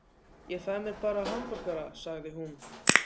Ég fæ mér bara hamborgara, sagði hún.